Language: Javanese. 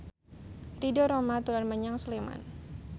Ridho Roma dolan menyang Sleman